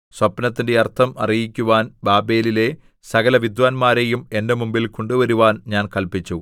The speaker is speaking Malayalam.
സ്വപ്നത്തിന്റെ അർത്ഥം അറിയിക്കുവാൻ ബാബേലിലെ സകലവിദ്വാന്മാരെയും എന്റെ മുമ്പിൽ കൊണ്ടുവരുവാൻ ഞാൻ കല്പിച്ചു